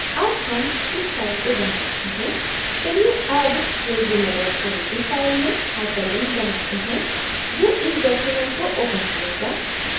अब हम इस file को बंद करते हैं चलिए अब resume odt file में hyperlink बनाते हैं जो इस document को open करेगा